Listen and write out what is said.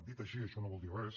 dit així això no vol dir res